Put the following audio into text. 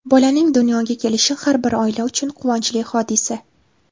Bolaning dunyoga kelishi har bir oila uchun quvonchli hodisa.